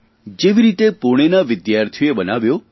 જેવી રીતે પૂણેના વિદ્યાર્થીઓએ બનાવ્યો